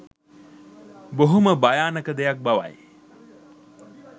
බොහොම භයානක දෙයක් බවයි.